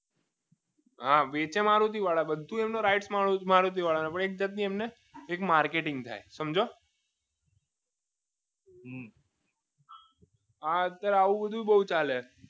વેચે મારુતિ વાળા આવે છે મારુતિ વાળા બધું એમાં બધું rights મારુતિ વાળા નો પણ એક જાતની એક માર્કેટિંગ થાય સમજ્યો આ અત્યારે આવું બધું બહુ ચાલે